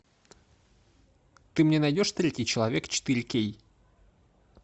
ты мне найдешь третий человек четыре кей